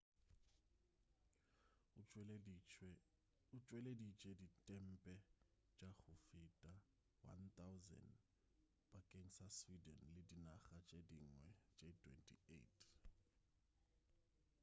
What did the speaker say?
o tšweleditše ditempe tša go feta 1,000 bakeng sa sweden le dinaga tše dingwe tše 28